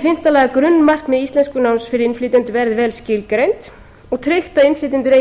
fimmta að grunnmarkmið íslenskunáms fyrir innflytjendur verði vel skilgreind og tryggt að allir innflytjendur eigi